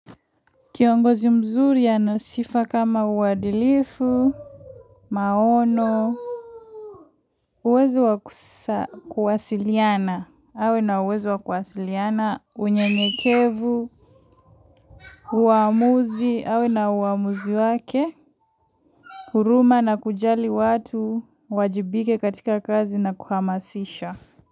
Kiongozi mzuri anasifa kama uadilifu, maono, uwezo wa kusa kuwasiliana, awe na uwezo wa kuwasiliana, unyenyekevu uamuzi, awe na uamuzi wake, huruma na kujali watu, wajibike katika kazi na kuhamasisha.